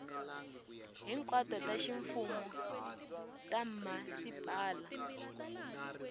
hinkwato ta ximfumo ta mhasipala